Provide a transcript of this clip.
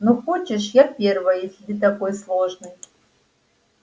ну хочешь я первая если ты такой сложный